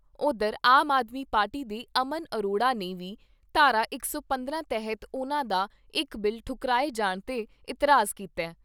ਓਧਰ ਆਮ ਆਦਮੀ ਪਾਰਟੀ ਦੇ ਅਮਨ ਅਰੋੜਾ ਨੇ ਵੀ ਧਾਰਾ ਇਕ ਸੌ ਪੰਦਰਾਂ ਤਹਿਤ ਉਨ੍ਹਾਂ ਦਾ ਇਕ ਬਿੱਲ ਠੁਕਰਾਏ ਜਾਣ ਤੇ ਇਤਰਾਜ ਕੀਤਾ ।